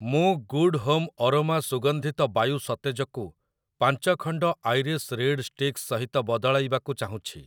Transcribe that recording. ମୁଁ good home aroma ସୁଗନ୍ଧିତ ବାୟୁ ସତେଜକୁ ପାଞ୍ଚ ଖଣ୍ଡ ଆଇରିଶ ରିଡ୍ ଷ୍ଟିକ୍ସ୍ ସହିତ ବଦଳାଇବାକୁ ଚାହୁଁଛି ।